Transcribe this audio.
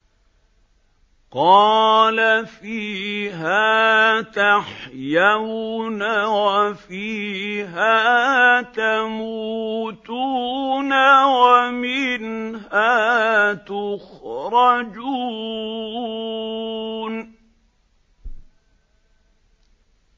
قَالَ فِيهَا تَحْيَوْنَ وَفِيهَا تَمُوتُونَ وَمِنْهَا تُخْرَجُونَ